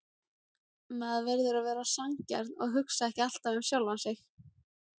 Maður verður að vera sanngjarn og hugsa ekki alltaf um sjálfan sig.